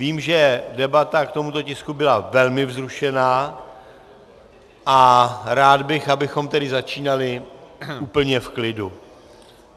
Vím, že debata k tomuto tisku byla velmi vzrušená, a rád bych, abychom tedy začínali úplně v klidu.